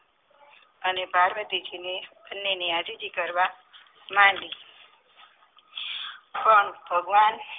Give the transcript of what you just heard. અને પાર્વતીજીને બંનેની આજીજી કરવા ભગવાન